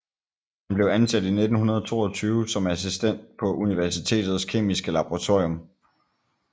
Han blev ansat i 1922 som assistent på universitetets kemiske laboratorium